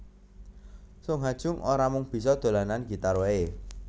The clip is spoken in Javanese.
Sung Ha Jung ora mung bisa dolanan gitar waé